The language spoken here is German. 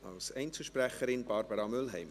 Als Einzelsprecherin: Barbara Mühlheim.